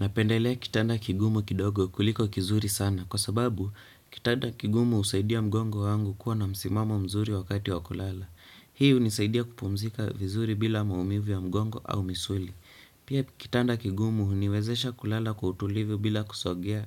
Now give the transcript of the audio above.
Napendelea kitanda kigumu kidogo kuliko kizuri sana kwa sababu kitanda kigumu husaidia mgongo wangu kuwa na msimamo mzuri wakati wa kulala. Hii hunisaidia kupumzika vizuri bila maumivu ya mgongo au misuli. Pia kitanda kigumu huniwezesha kulala kwa utulivu bila kusogea